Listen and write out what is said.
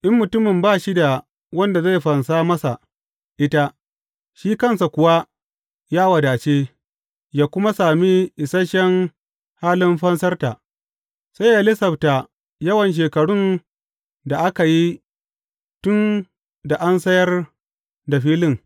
In mutumin ba shi da wanda zai fansa masa ita, shi kansa kuwa ya wadace, ya kuma sami isashen halin fansarta, sai yă lasafta yawan shekarun da aka yi tun da an sayar da filin.